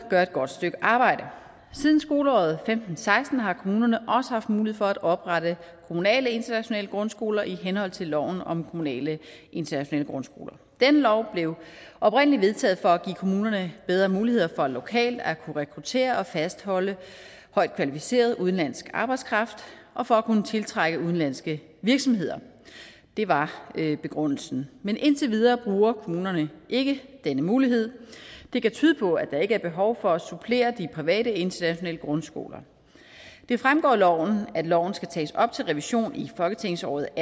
gør et godt stykke arbejde siden skoleåret til seksten har kommunerne også haft mulighed for at oprette kommunale internationale grundskoler i henhold til loven om kommunale internationale grundskoler den lov blev oprindelig vedtaget for at give kommunerne bedre muligheder for lokalt at kunne rekruttere og fastholde højt kvalificeret udenlandsk arbejdskraft og for at kunne tiltrække udenlandske virksomheder det var begrundelsen men indtil videre bruger kommunerne ikke denne mulighed det kan tyde på at der ikke er behov for at supplere de private internationale grundskoler det fremgår af loven at loven skal tages op til revision i folketingsåret